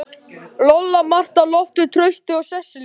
Lolla, Marta, Loftur, Trausti og Sesselía.